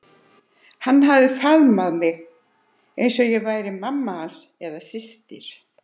Hann hafði faðm- að mig eins og ég væri mamma hans eða systir.